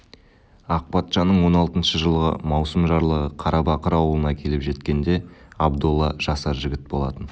ақ патшаның он алтыншы жылғы маусым жарлығы қарабақыр аулына келіп жеткенде абдолла жасар жігіт болатын